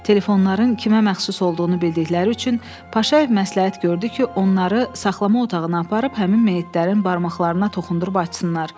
Telefonların kimə məxsus olduğunu bildikləri üçün Paşayev məsləhət gördü ki, onları saxlama otağına aparıb həmin meyitlərin barmaqlarına toxundurub açsınlar.